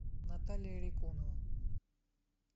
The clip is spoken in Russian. наталья рекунова